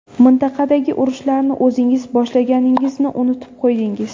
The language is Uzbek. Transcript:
Mintaqadagi urushlarni o‘zingiz boshlaganingizni unutib qo‘ydingiz!